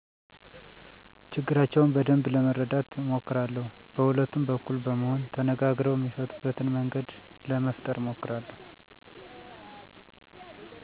ችግራቸውን በደንብ ለመረዳት አሞክራለው በሁለቱም በኩል በመሆን ተነጋግረው እሚፈቱበትን መንገድ ለመፈጠረ አሞክራለሁ